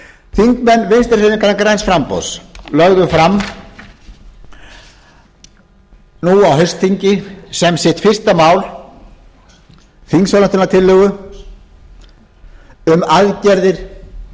þingmenn vinstri hreyfingarinnar græns framboðs lögðu fram nú á haustþingi sem fyrsta mál sitt þingsályktunartillögu um aðgerðir til að